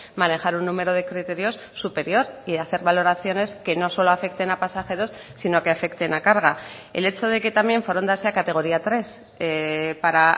manejar un número de criterios superior y hacer valoraciones que no solo afecten a pasajeros sino que afecten a carga el hecho de que también foronda sea categoría tres para